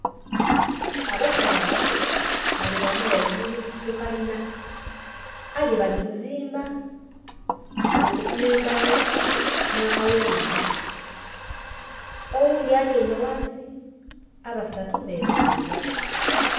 Abasaadha bali bana ghaigulu ku kalina aye bali kuziimba. Bali kupima embaagho n'akaghuuzi. Oghundi atyaime ghansi, abasatu bemeleire.